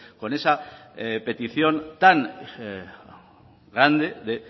con esa petición tan grande